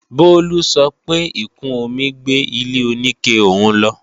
Bolu sọ pé ìkún omi gbé ilé-oníke òun lọ